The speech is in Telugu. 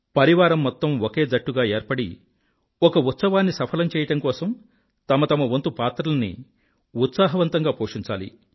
పరివారం మొత్తం ఒక జట్టుగా ఏర్పడి ఒక ఉత్సవాన్ని సఫలం చెయ్యడం కోసం తమతమ వంతు పాత్రల్ని ఉత్సాహవంతంగా పోషించాలి